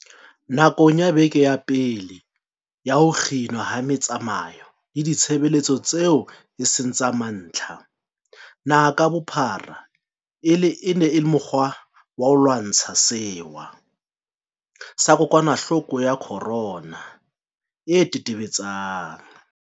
Nakong ya beke ya pele ya ho kginwa ha metsamao le ditshebeletso tseo e seng tsa mantlha naha ka bophara e le mokgwa wa ho lwantsha sewa sa kokwanahloko ya corona e tetebe-tsang